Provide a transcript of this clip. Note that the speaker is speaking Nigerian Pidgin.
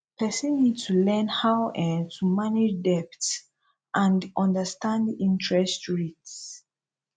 person need to learn how um to manage debt and understand interest rates